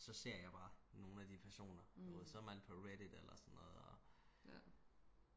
så ser jeg bare nogle af de personer du ved så er man på reddit eller sådan noget og